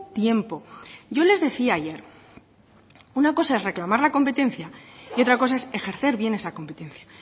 tiempo yo les decía ayer una cosa es reclamar la competencia y otra cosa es ejercer bien esa competencia